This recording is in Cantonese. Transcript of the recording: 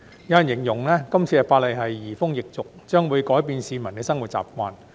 有人形容這次法例是移風易俗，將會改變市民的生活習慣。